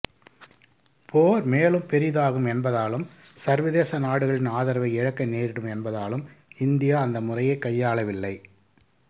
போர் மேலும் பெரிதாகும் என்பதாலும் சர்வதேச நாடுகளின் ஆதரவை இழக்க நேரிடும் என்பதாலும் இந்தியா அந்த முறையைக் கையாளவில்லை